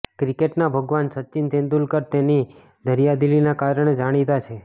ક્રિકેટના ભગવાન સચિન તેંડુલકર તેની દરિયાદીલીના કારણે જાણીતા છે